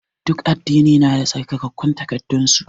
Duk addini na da tsarkakun takaddan su.